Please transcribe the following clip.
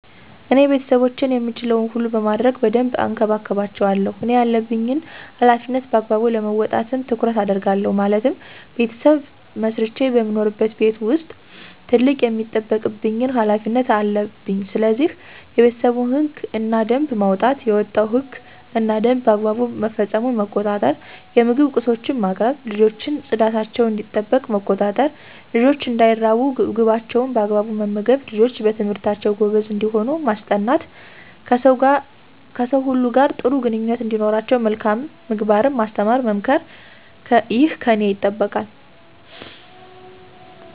እኔ ቤተሰቦቼን የምችለዉን ሁሉ በማድረግ በደንብ እንከባከባቸዋለሁ እኔ ያለብኝን ሀላፊነት በአግባቡ ለመወጣትም ጥረት አደርጋለሁ ማለትም "ቤተሰብ መስርቼ በምኖርበት ቤት ዉስጥ ትልቅ የሚጠበቅብኝ ሀላፊነት" አለብኝስለዚህ፦ የቤተሰቡን ህግ እና ደንብ ማዉጣት፣ የወጣዉ ህግ እና ደንብ በአግባቡ መፈፀሙን መቆጣጠር፣ የምግብ ቁሶችን ማቅረብ፣ ልጆችን ፅዳታቸዉ እንዲጠበቅ መቆጣጠር፣ ልጆች እንዳይራቡ ምግባቸዉን በአግባቡ መመገብ፣ ልጆች በትምህርታቸዉ ጎበዝ እንዲሆኑ ማስጠናት፣ ከሰዉ ሁሉ ጋር ጥሩ ግንኙነት እንዲኖራቸዉ መልካም ምግባርን ማስተማር መምከር ይህ ከኔ ይጠበቃል።